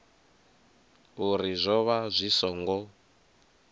uri zwo vha zwi songo